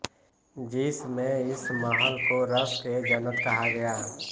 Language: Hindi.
जिस में इस महल को रष्कएजन्नत कहा गया